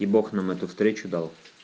и бог нам эту встречу дал